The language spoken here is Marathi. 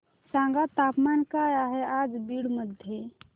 सांगा तापमान काय आहे आज बीड मध्ये